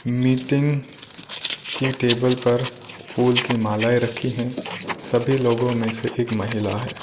Meeting की table पर फूल की मालाएं रखी हैं सभी लोगों में से एक महिला है।